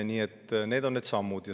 Nii et need on need sammud.